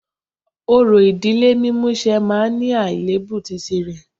Orò ìdílé mímúṣẹ máa ní àléébù tìrẹ